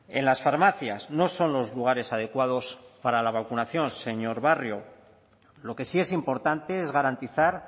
en las farmacias no son los lugares adecuados para la vacunación señor barrio lo que sí es importante es garantizar